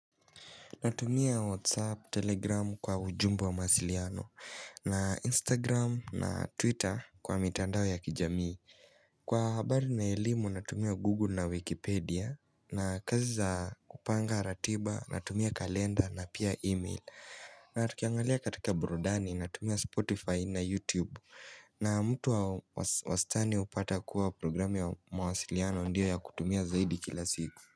Natumia WhatsApp, Telegram kwa ujumbe wa mahasiliano na Instagram na Twitter kwa mitandao ya kijamii Kwa habari na elimu natumia Google na Wikipedia na kazi za kupanga ratiba natumia kalenda na pia email na tukiangalia katika Bururdani natumia Spotify na YouTube na mtu wa wastani upata kuwa programi wa mahasiliano ndio ya kutumia zaidi kila siku.